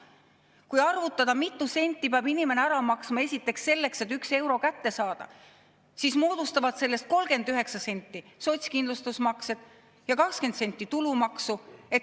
Kui arvutada, mitu senti peab inimene ära maksma esiteks selleks, et 1 euro kätte saada, siis selgub, et 39 senti sellest moodustavad sotsiaalkindlustusmaksed ja 20 senti tulumaks.